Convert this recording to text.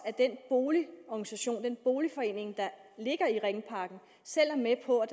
at den boligorganisation den boligforening der ligger i ringparken selv er med på at